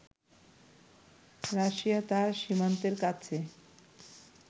Russia তার সীমান্তের কাছে